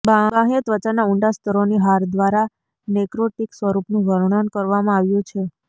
બાહ્ય ત્વચાના ઊંડા સ્તરોની હાર દ્વારા નેક્રોટિક સ્વરૂપનું વર્ણન કરવામાં આવ્યું છે